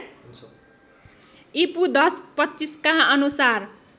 ईपू १०२५ का अनुसार